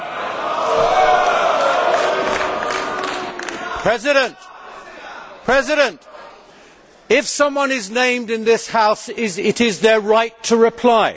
Mr President, if someone is named in this House, it is their right to reply.